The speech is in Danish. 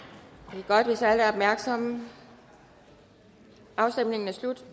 det er godt hvis alle er opmærksomme afstemningen er slut